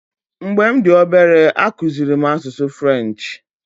Mgbe m dị obere, akụziri m asụsụ French.